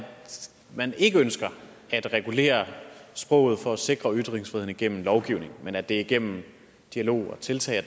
man ikke ønsker at regulere sproget for at sikre ytringsfriheden igennem lovgivning men at det er igennem dialog og tiltag